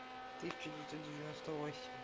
тысяча девятьсот девяносто восемь